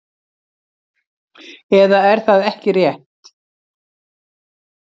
Eða er það ekki rétt?